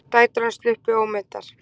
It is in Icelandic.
Dætur hans sluppu ómeiddar